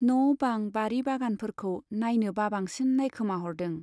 न' बां, बारि बागानफोरखौ नाइनो बाबांसिन नाइखोमाहरदों।